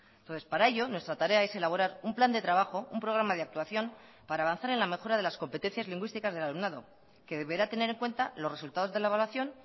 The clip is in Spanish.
entonces para ello nuestra tarea es elaborar un plan de trabajo un programa de actuación para avanzar en la mejora de las competencias lingüísticas del alumnado que deberá tener en cuenta los resultados de la evaluación